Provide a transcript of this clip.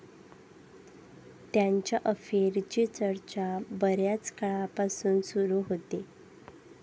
त्यांच्या अफेअरची चर्चा बऱ्याच काळापासून सुरू होती.